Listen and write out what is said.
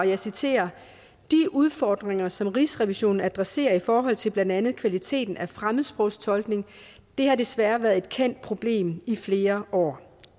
jeg citerer de udfordringer som rigsrevisionen adresserer i forhold til blandt andet kvaliteten af fremmedsprogstolkning har desværre været et kendt problem i flere år